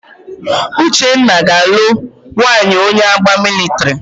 Uchenna ga-alụ nwaanyị onye agha mịlịtrị.